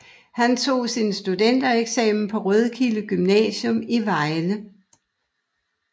Han tog sin studentereksamen på Rødkilde Gymnasium i Vejle